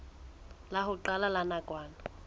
la ho qala la nakwana